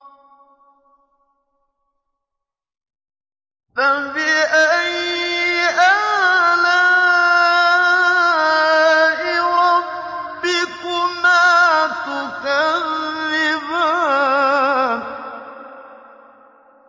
فَبِأَيِّ آلَاءِ رَبِّكُمَا تُكَذِّبَانِ